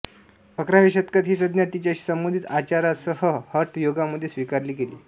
अकराव्या शतकात ही संज्ञा तिच्याशी संबंधित अाचारांसह हठ योगामध्ये स्वीकारली गेली